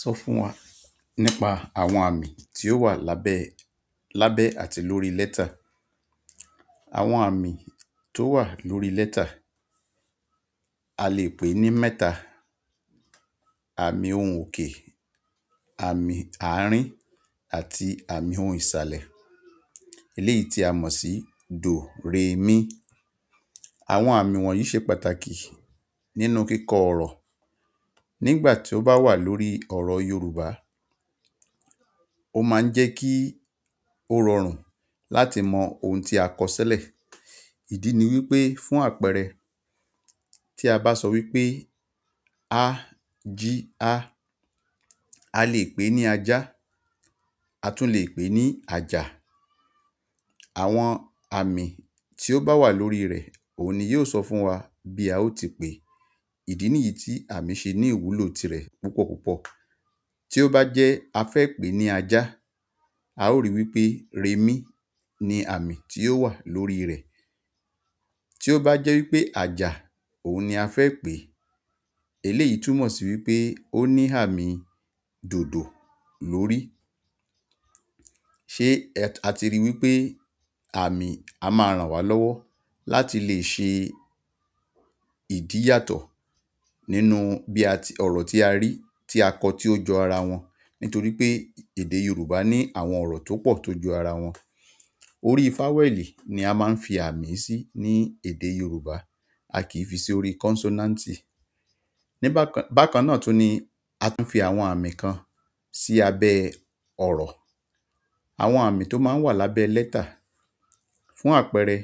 Sọ fún wa nípa àwọn àmì tí ó wà lábẹ́ lábẹ́ àti lórí lẹ́tà. Àwọn àmì tó wà lórí lẹ́tà a lè pè ní mẹ́ta. Àmì ohùn òkè, àmì àárín àti àmì ohùn ìsàlẹ̀ eléyìí tí a mọ̀ sí dò, Re, Mí. Àwọn àmì wọ̀nyí ṣe pàtàkì nínú kíkọ ọ̀rọ̀. Nígbà tí ó bá wà lórí ọ̀rọ̀ Yorùbá, ó má ń jẹ́ kí ó rọrùn láti mọ ohun tí a kọ silẹ̀. Ìdí ni wípé fún àpẹẹrẹ tí a bá sọ wípé a ji a, a lè pè é ní ajá, a tún lè pè é ní àjà. Àwọn àmì tí ó bá wà lórí rẹ̀ òun ni yóò sọ fún wa bí a ó ti pè é. Ìdí nìyí tí àmì ṣe ní ìwúlò tirẹ̀ púpọ̀ púpọ̀. Tí ó bá jẹ́ a fẹ́ pè é ní ajá, a ó rí wípé re mí ni àmì tí ó wà lórí rẹ̀. Tí ó bá jẹ́ wípé àjà òun ni a fẹ́ pè é, eléyìí túmọ̀ sí wípé ó ní àmì dòdò lórí. Ṣé a ti rí i wípé àmì a máa ràn wá lọ́wọ́ láti lè ṣe ìdí yàtọ̀ nínú bí a ti ọ̀rọ̀ tí a rí tí a kọ tí ó jọ ara wọn nítorí pé èdè Yorùbá ní àwọn ọ̀rọ̀ tó pọ̀ tó jọ ara wọn. Orí fáwẹ̀ẹ̀lì ni a máa ń fi àmì sí ní èdè Yorùbá a kì í fi sí orí consonant. Bákan náà tún ni a tún fi àwọn àmì kan sí abẹ ọ̀rọ̀. Àwọn àmì tó máa ń wà lábẹ́ lẹ́tà. Fún àpẹẹrẹ